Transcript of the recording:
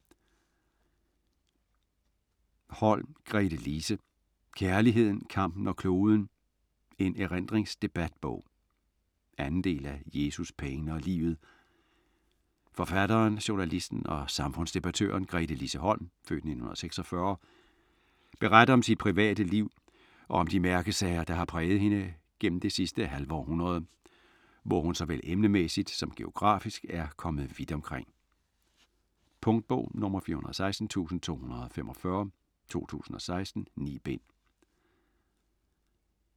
Holm, Gretelise: Kærligheden, kampen og kloden: en erindringsdebatbog 2. del af Jesus, pengene og livet. Forfatteren, journalisten og samfundsdebattøren Gretelise Holms (f. 1946) beretning om sit private liv og om de mærkesager, der har præget hende gennem det sidste halve århundrede, hvor hun såvel emnemæssigt som geografisk er kommet vidt omkring. . Punktbog 416245 2016. 9 bind.